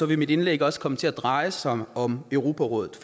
vil mit indlæg også komme til at dreje sig om europarådet